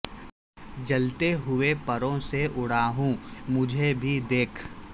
جلتے ہوئے پروں سے اڑا ہوں مجھے بھی دیکھ